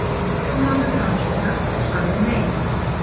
Formaður Framsóknar sagði nei